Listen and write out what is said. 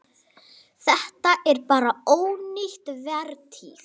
Þetta er bara ónýt vertíð.